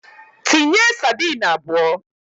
Tinye sadin abụọ!